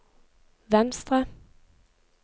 venstre